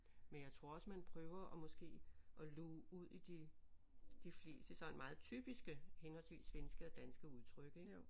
Men jeg tror også man prøver at måske at luge ud i de de fleste sådan meget typiske henholdsvis svenske og danske udtryk ik